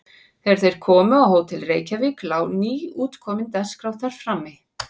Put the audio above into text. Þegar þeir komu á Hótel Reykjavík lá nýútkomin Dagskrá þar frammi.